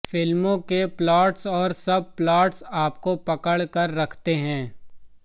film के plots और सब प्लॉट्स आपको पकड़ कर रखते हैं